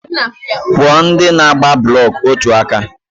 Kwụọ ndị na-agba blọk otu aka!